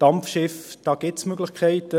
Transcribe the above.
Bei den Dampfschiffen gibt es Möglichkeiten.